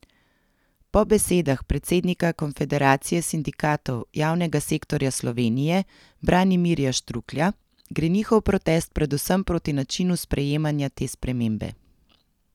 Po besedah predsednika Konfederacije sindikatov javnega sektorja Slovenije Branimirja Štruklja gre njihov protest predvsem proti načinu sprejemanja te spremembe.